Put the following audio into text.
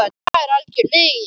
Það er algjör lygi.